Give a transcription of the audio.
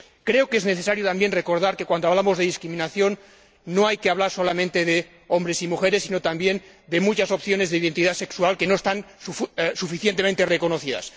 Creo que es necesario también recordar que, cuando hablamos de discriminación, no hay que hablar solamente de hombres y mujeres, sino también de muchas opciones de identidad sexual que no están suficientemente reconocidas.